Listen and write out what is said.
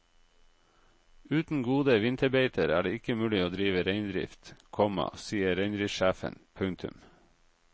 Uten gode vinterbeiter er det ikke mulig å drive reindrift, komma sier reindriftssjefen. punktum